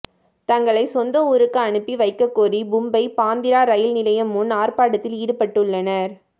தங்களை சொந்த ஊருக்கு அனுப்பி வைக்கக்கோரி மும்பை பாந்திரா ரயில் நிலையம் முன் ஆர்ப்பாட்டத்தில் ஈடுபட்டுள்ளனர்